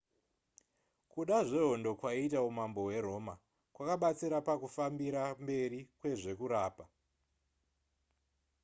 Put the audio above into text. kuda zvehondo kwaiita umambo hweroma kwakabatsira pakufambira mberi kwezvekurapa